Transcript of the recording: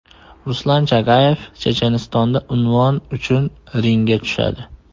Ruslan Chagayev Chechenistonda unvon uchun ringga tushadi.